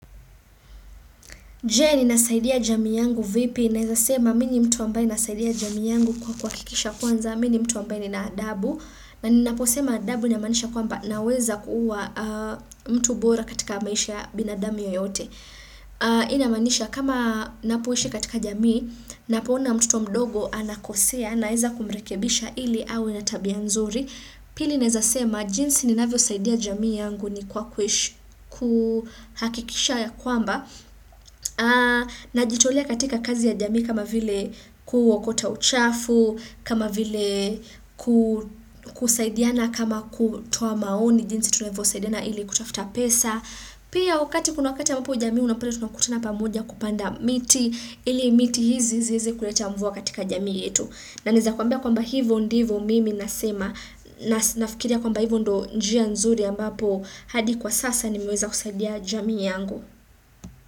Je, ninasaidia jamii yangu vipi? Naeza sema mimi ni mtu ambaye nasaidia jamii yangu kwa kuhakikisha kwanza, mimi ni mtu ambaye nina adabu. Na ninaposema adabu inamaanisha kwamba naweza kuwa mtu bora katika maisha ya binadamu yoyote. Hii inamaanisha kama napoishi katika jamii, napoona mtoto mdogo anakosea, naeza kumrekebisha ili awe na tabia nzuri. Pili naeza sema jinsi ninavyosaidia jamii yangu ni kwa kuhakikisha ya kwamba najitolea katika kazi ya jamii kama vile kuokota uchafu, kama vile kusaidiana kama kutoa maoni jinsi tunavyosaidiana ili kutafuta pesa. Pia wakati, kuna wakati ambapo jamii unapata tunakutuna pamoja kupanda miti ili miti hizi zieze kuleta mvua katika jamii yetu. Na naeza kuambia kwamba hivyo ndivyo mimi nasema. Nafikiria kwamba hivyo ndio njia nzuri ambapo hadi kwa sasa nimiweza kusadia jamii yangu.